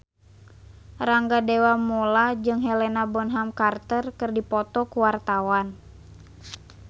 Rangga Dewamoela jeung Helena Bonham Carter keur dipoto ku wartawan